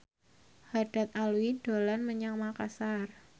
Haddad Alwi dolan menyang Makasar